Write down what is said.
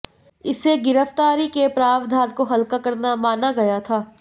इसे गिरफ्तारी के प्रावधान को हल्का करना माना गया था